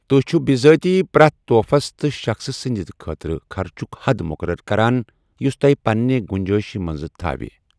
تُہۍ چِھو بِذٲتی پرٛٮ۪تھ تحفس تہٕ شخصہٕ سٕنٛدِ خٲطرٕ خرچُک حد مُقرر کران، یُس تۄہہِ پنٛنہِ گُنجٲیشہِ منٛز تھاوِ۔